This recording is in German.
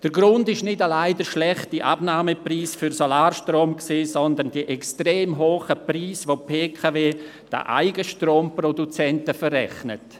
Der Grund ist nicht allein der schlechte Abnahmepreis für Solarstrom, sondern die extrem hohen Preise, welche die BKW den Eigenstromproduzenten verrechnet.